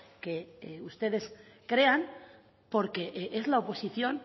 que ustedes crean porque es la oposición